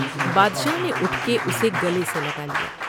بادشاہ نے اٹھ کے اسے گلے سے لگا لیا ۔